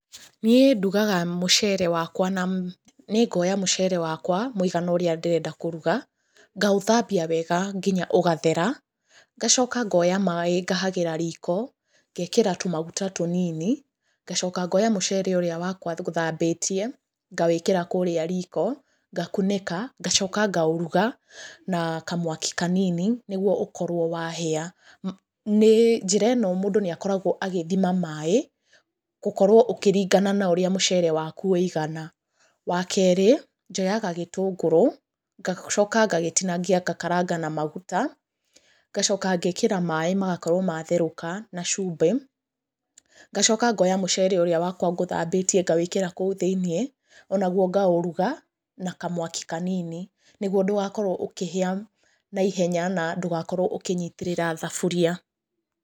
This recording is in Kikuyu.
Niĩ ndugaga mũcere wakwa na, nĩ ngoya mũcere wakwa mũigana ũrĩa ndĩrenda kũruga, ngaũthambia wega nginya ũgathera, ngacoka ngoya maaĩ ngahagĩra riko, ngekĩra tũmaguta tũnini, ngacoka ngoya mũcere ũrĩa wakwa ngũthambĩtie, ngawĩkĩra kũrĩa riko, ngaũkunĩka, ngacoka ngaũruga na kamwaki kanini, nĩguo ũkorwo wahĩa. Njĩra ĩno mũndũ nĩ akoragwo agĩthima maaĩ, gũkorwo ũkĩringana na ũrĩa mũcere waku wĩigana. Wa kerĩ, njoyaga gĩtũngũrũ, ngacoka ngagĩtinangia ngakaranga na maguta, ngacoka ngekĩra maaĩ magakorwo matherũka na cumbi, ngacoka ngoya mũcere ũrĩa wakwa ngũthambĩtie ngawĩkĩra kũu thĩiniĩ, o naguo ngaũruga na kamwaki kanini, nĩguo ndũgakorwo ũkĩhĩa na ihenya na ndũgakorwo ũkĩnyitĩrĩra thaburia.